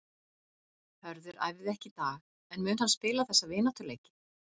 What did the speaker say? Hörður æfði ekki í dag en mun hann spila þessa vináttuleiki?